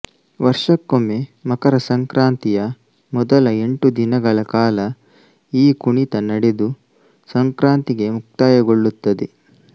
ವರ್ಷಕ್ಕೊಮ್ಮೆ ಮಕರ ಸಂಕ್ರಾಂತಿಯ ಮೊದಲ ಎಂಟು ದಿನಗಳ ಕಾಲ ಈ ಕುಣಿತ ನಡೆದು ಸಂಕ್ರಾಂತಿಗೆ ಮುಕ್ತಾಯಗೊಳ್ಳುತ್ತದೆ